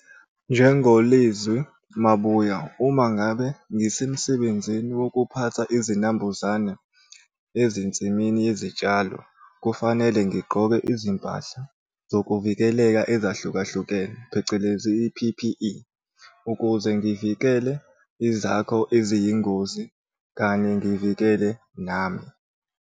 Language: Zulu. NjengoLizwi Mabuya, uma ngabe ngisemsebenzini wokuphatha izinambuzane ezinsimini yezitshalo, kufanele ngigqoke izimpahla zokuvikeleka ezahlukahlukene phecelezi i-P_P_E, ukuze ngivikele ezakho eziyingozi kanye ngivikele nami.